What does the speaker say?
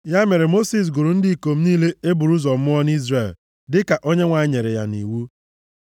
Ya mere, Mosis gụrụ ndị ikom niile e buru ụzọ mụọ nʼIzrel, dịka Onyenwe anyị nyere ya nʼiwu,